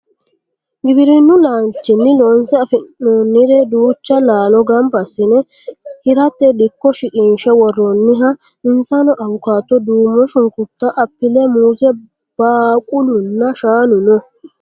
Giwirinnu laalchinni loonse afi'noonnire duucha laalo gamba assine hirate dikko shiqinshe worroonniha insano awukaato, duumo shunkurta, appile, muuze, baaqulunna shaanu no